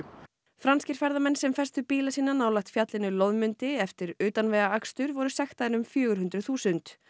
franskir ferðamenn sem festu bíla sína nálægt fjallinu eftir utanvegaakstur voru sektaðir um fjögur hundruð þúsund